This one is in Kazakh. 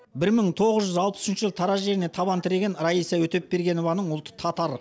бір мың тоғыз жүз алпыс үшінші жылы тараз жеріне табан тіреген раиса өтепбергенованың ұлты татар